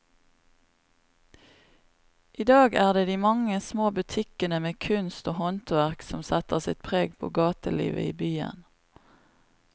I dag er det de mange små butikkene med kunst og håndverk som setter sitt preg på gatelivet i byen.